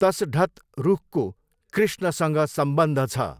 तसढत रुखको कृष्णसँग सम्बन्ध छ।